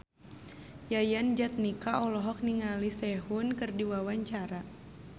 Yayan Jatnika olohok ningali Sehun keur diwawancara